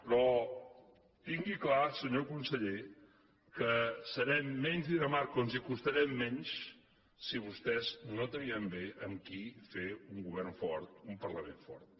però tingui clar senyor conseller que serem menys dinamarca o ens hi acostarem menys si vostès no trien bé amb qui fer un govern fort un parlament fort